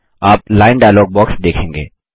आप line dialogue box देखेंगे